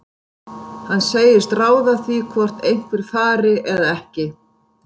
Hann segist ráða því hvort einhver fari eða ekki.